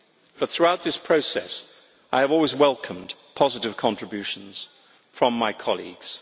But throughout this process I have always welcomed positive contributions from my colleagues.